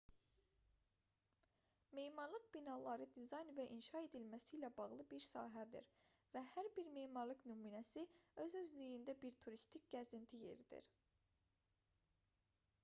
memarlıq binaların dizayn və inşa edilməsi ilə bağlı bir sahədir və hər bir memarlıq nümunəsi özü-özlüyündə bir turistik gəzinti yeridir